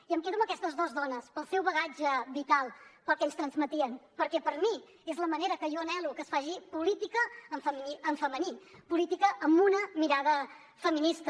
i em quedo amb aquestes dos dones pel seu bagatge vital pel que ens transmetien perquè per mi és la manera que jo anhelo que es faci política en femení política amb una mirada feminista